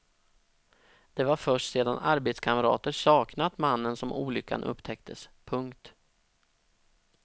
Det var först sedan arbetskamrater saknat mannen som olyckan upptäcktes. punkt